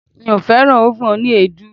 Mi ò fẹ́ràn ófùn oní èédú.